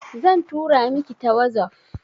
Zan tura miki ta wazof